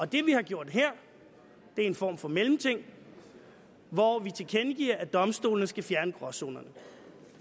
det vi har gjort her er en form for mellemting hvor vi tilkendegiver at domstolene skal fjerne gråzonerne